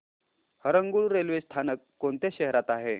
Harangul railway स्थानक कोणत्या शहरात आहे